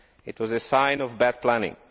It was a sign of bad planning.